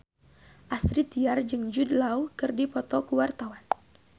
Astrid Tiar jeung Jude Law keur dipoto ku wartawan